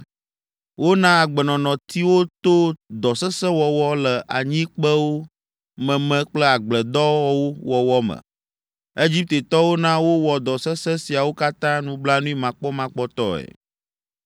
Wona agbenɔnɔ ti wo to dɔ sesẽ wɔwɔ le anyikpewo meme kple agbledɔwo wɔwɔ me. Egiptetɔwo na wowɔ dɔ sesẽ siawo katã nublanuimakpɔmakpɔtɔe.